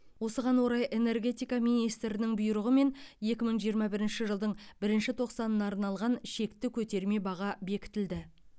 осыған орай энергетика министрінің бұйрығымен екі мың жиырма бірінші жылдың бірінші тоқсанына арналған шекті көтерме баға бекітілді